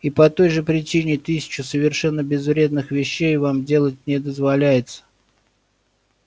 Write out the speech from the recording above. и по той же причине тысячу совершенно безвредных вещей вам делать не дозволяется